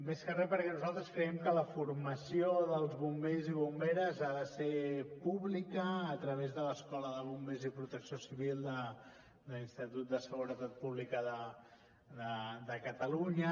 més que res perquè nosaltres creiem que la formació dels bombers i bomberes ha de ser pública a través de l’escola de bombers i protecció civil de l’institut de seguretat pública de catalunya